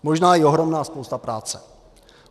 Možná i ohromná spousta práce.